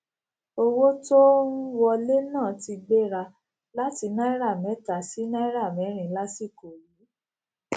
owó tó n wọlé náà ti gbéra láti náírà méta sí náírà mérin lásìkò yìí